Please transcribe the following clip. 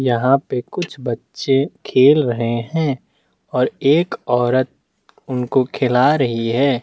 यहाँ पे कुछ बच्चे खेल रहे है एक औरत उनको खिला रही है।